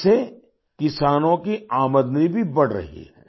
इससे किसानों की आमदनी भी बढ़ रही है